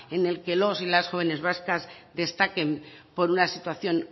en el que los y las jóvenes vascas destaquen por una situación